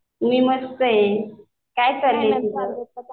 मी मस्त आहे. काय चालू आहे तुझं?